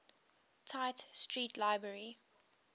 tite street library